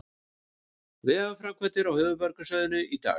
Vegaframkvæmdir á höfuðborgarsvæðinu í dag